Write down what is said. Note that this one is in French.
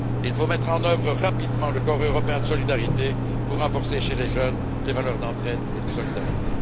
Il faut mettre en œuvre rapidement le corps européen de solidarité pour renforcer, chez les jeunes, les valeurs d'entraide et de solidarité.